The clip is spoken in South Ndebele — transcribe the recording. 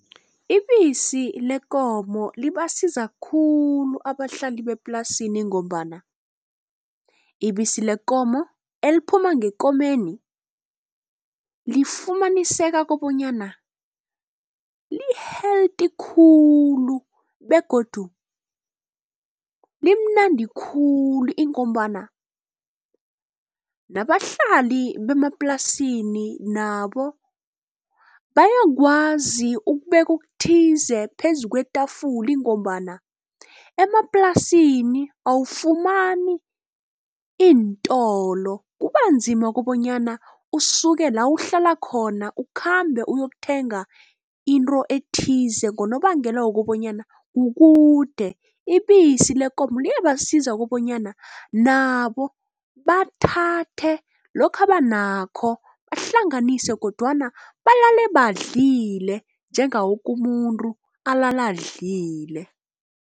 Ibisi lekomo libasiza khulu abahlali beplasini ngombana ibisi lekomo eliphuma ngekomeni lifumaniseka kobonyana li-healthy khulu begodu limnandi khulu ingombana nabahlali bemaplasini nabo bayakwazi ukubeka okuthize phezu kwetafula ngombana emaplasini awufumani iintolo. Kubanzima kobonyana usuke la uhlala khona ukhambe uyokuthenga into ethize ngonobangela wokobanyana kukude. Ibisi lekomo liyabasiza kobonyana nabo bathathe lokhu abanakho bahlanganise kodwana balale badlile njengawo woke umuntu olala adlile.